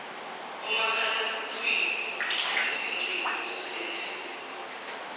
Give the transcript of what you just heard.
omakhalekhukhwini izingcingo zasendlini